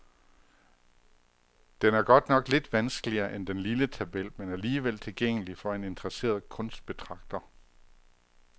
Den er godt nok lidt vanskeligere end den lille tabel, men alligevel tilgængelig for en interesseret kunstbetragter.